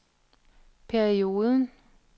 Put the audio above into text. perioden